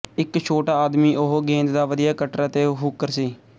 ਇੱਕ ਛੋਟਾ ਆਦਮੀ ਉਹ ਗੇਂਦ ਦਾ ਵਧੀਆ ਕਟਰ ਅਤੇ ਹੂਕਰ ਸੀ